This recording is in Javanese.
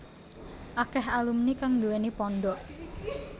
Akèh alumni kang nduwèni pondhok